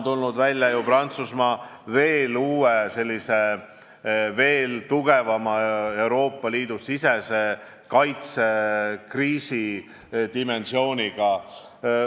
Nüüd on Prantsusmaa välja tulnud uue, veel tugevama Euroopa Liidu sisese kaitse kriisi dimensiooniga.